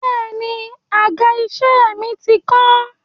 Bẹ́è ni, àga-iṣẹ́ mi ti kán.